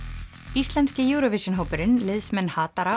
íslenski Eurovision hópurinn liðsmenn